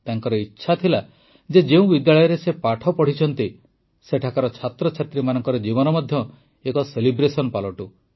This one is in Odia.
ତାଙ୍କର ଇଚ୍ଛା ଥିଲା ଯେ ଯେଉଁ ବିଦ୍ୟାଳୟରେ ସେ ପାଠ ପଢ଼ିଛନ୍ତି ସେଠାକାର ଛାତ୍ରଛାତ୍ରୀମାନଙ୍କ ଜୀବନ ମଧ୍ୟ ଏକ ସେଲିବ୍ରେସନ୍ ହେଉ